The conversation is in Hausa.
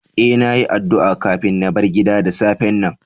E,na yi addu a kafin na bar gida da safen nan.